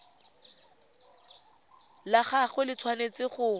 la gagwe le tshwanetse go